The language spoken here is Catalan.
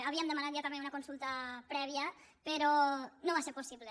ha víem demanat ja també una consulta prèvia però no va ser possible